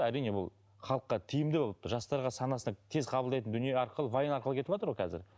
әрине ол халыққа тиімді болып жастарға санасына тез қабылдайтын дүние арқылы вайн арқылы кетіватыр ғой қазір